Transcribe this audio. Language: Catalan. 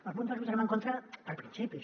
el punt dos el votarem en contra per principis